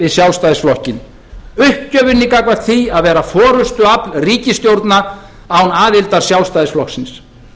við sjálfstæðisflokkinn uppgjöfinni gagnvart því að vera forustuafl ríkisstjórnar án aðildar sjálfstæðisflokksins